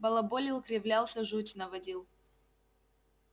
балаболил кривлялся жуть наводил